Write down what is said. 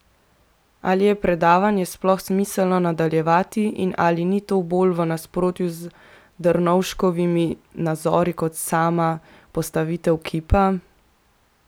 Ali je pravdanje sploh smiselno nadaljevati in ali ni to bolj v nasprotju z Drnovškovimi nazori kot sama postavitev kipa?